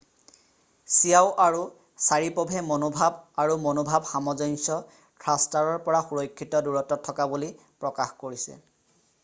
Qiao আৰু চাৰিপ'ভে মনোভাৱ আৰু মনোভাৱ সামঞ্জস্য থ্ৰাষ্টাৰৰ পৰা সুৰক্ষিত দূৰত্বত থকা বুলি প্ৰকাশ কৰিছে